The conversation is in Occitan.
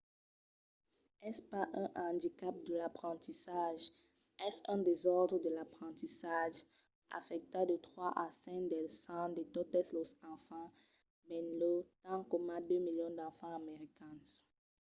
es pas un andicap de l’aprendissatge es un desòrdre de l'aprendissatge; afècta de 3 a 5 del cent de totes los enfants benlèu tant coma 2 milions d’enfants americans